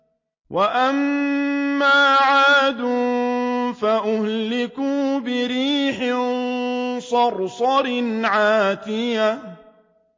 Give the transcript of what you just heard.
وَأَمَّا عَادٌ فَأُهْلِكُوا بِرِيحٍ صَرْصَرٍ عَاتِيَةٍ